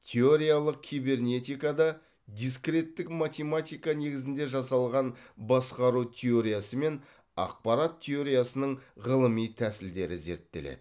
теориялық кибернетикада дискреттік математика негізінде жасалған басқару теориясы мен ақпарат теориясының ғылыми тәсілдері зерттеледі